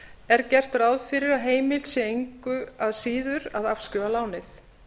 er gert ráð fyrir að heimilt sé engu síður að afskrifa lánið